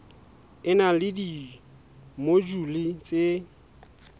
e na le dimojule tse